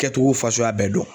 Kɛcogo fasuguya bɛɛ dɔn.